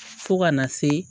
Fo kana se